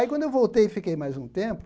Aí quando eu voltei e fiquei mais um tempo,